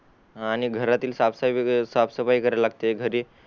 आणि घरातील साफ साफसफाई करायला लागते घरी